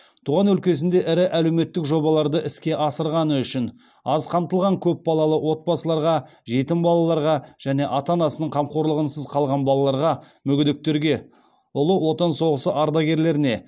туған өлкесінде ірі әлеуметтік жобаларды іске асырғаны үшін аз қамтылған көп балалы отбасыларға жетім балаларға және ата анасының қамқорлығынсыз қалған балаларға мүгедектерге ұлы отан соғыс ардагерлеріне